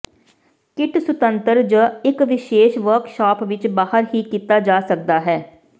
kit ਸੁਤੰਤਰ ਜ ਇੱਕ ਵਿਸ਼ੇਸ਼ ਵਰਕਸ਼ਾਪ ਵਿੱਚ ਬਾਹਰ ਹੀ ਕੀਤਾ ਜਾ ਸਕਦਾ ਹੈ